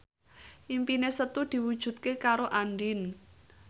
impine Setu diwujudke karo Andien